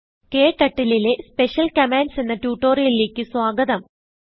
KTurtleലെ special Commandsഎന്ന ട്യൂട്ടോറിയലിലേക്ക് സ്വാഗതം